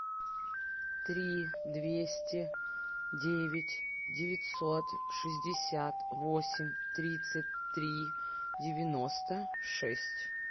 три двести девять девятьсот шестьдесят восемь тридцать три девяносто шесть